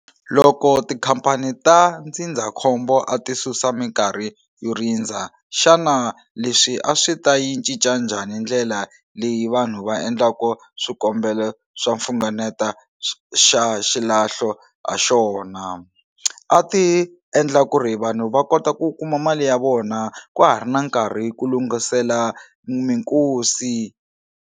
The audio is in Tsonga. Loko tikhampani ta ndzindzakhombo a ti susa minkarhi yo rindza xana leswi a swi ta yi cinca njhani ndlela leyi vanhu va endlaku swikombelo swa mfunganeta xa xilahlo ha xona a ti endla ku ri vanhu va kota ku kuma mali ya vona kwa ha ri na nkarhi ku lunghisela minkosi.